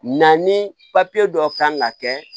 Na ni dɔ kan ka kɛ